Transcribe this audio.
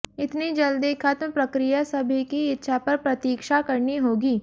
इतनी जल्दी खत्म प्रक्रिया सभी की इच्छा पर प्रतीक्षा करनी होगी